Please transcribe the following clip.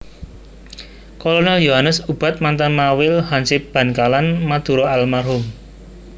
Kolonel Yohanes Ubad Mantan Mawil hansip Bankalan Madura almarhum